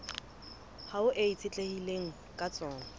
hao e itshetlehileng ka tsona